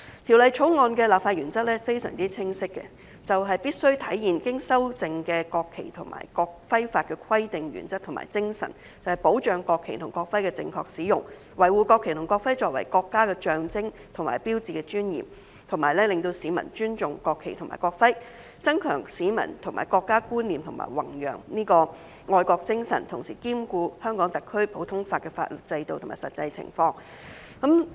《條例草案》的立法原則相當清晰，就是必須體現經修正的《國旗法》及《國徽法》的規定、原則和精神，保障國旗及國徽的正確使用，維護國旗及國徽作為國家的象徵和標誌的尊嚴，使市民尊重國旗及國徽，增強市民的國家觀念和弘揚愛國精神，同時兼顧香港特區的普通法法律制度及實際情況。